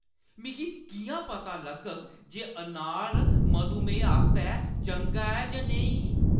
मिगी किʼयां पता लग्गग जे अनार मधुमेह आस्तै चंगा ऐ जां नेईं?